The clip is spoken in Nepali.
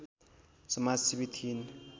समाजसेवी थिइन्